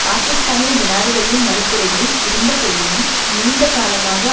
பாகிஸ்தானிய ஜனாதிபதியின் மறுப்புரைகள் இருந்த போதிலும் நீண்டகாலமாக